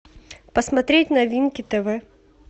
посмотреть новинки тв